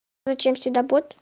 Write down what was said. зачем сюда под